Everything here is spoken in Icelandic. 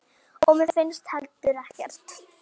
Og mér finnst heldur ekkert.